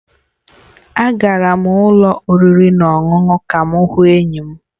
Agara m ụlọ oriri na ọṅụṅụ ka m hụ enyi m